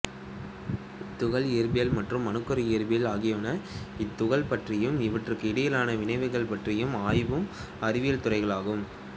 துகள் இயற்பியல் மற்றும் அணுக்கரு இயற்பியல் ஆகியன இத்துகள்களைப் பற்றியும் இவற்றிற்கு இடையிலான வினைகள் பற்றியும் ஆயும் அறிவியல் துறைகளாகும்